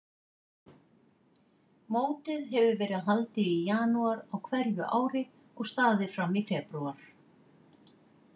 Mótið hefur verið haldið í janúar á hverju ári og staðið fram í febrúar.